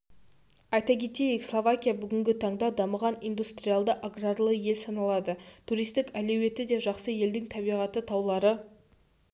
айта кетейік словакия бүгінгі таңда дамыған индустриалды-аграрлы ел саналады туристік әлеуеті де жақсы елдің табиғаты таулары